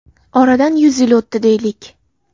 Oradan yuz yil o‘tdi deylik.